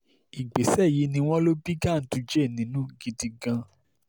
ìgbésẹ̀ yìí ni wọ́n lò bí ganduje nínú gidi gan-an